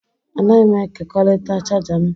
Anaghị m ekekọrịta chaja m